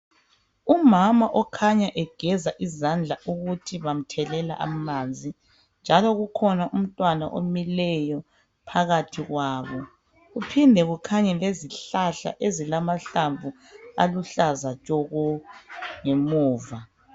Umama okhanya egeza izandla ukuthi bamthelela amanzi, njalo kukhona umtwana omileyo phakathi kwabo, kuphinde kukhanye lezihlahla ezilamahlamvu aluhlaza tshoko ngemuva.